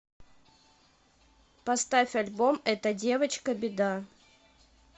поставь альбом эта девочка беда